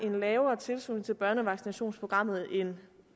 en lavere tilslutning til børnevaccinationsprogrammet end